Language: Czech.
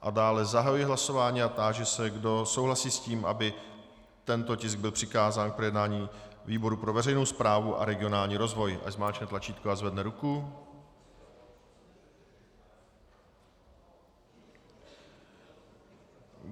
A dále zahajuji hlasování a táži se, kdo souhlasí s tím, aby tento tisk byl přikázán k projednání výboru pro veřejnou správu a regionální rozvoj, ať zmáčkne tlačítko a zvedne ruku.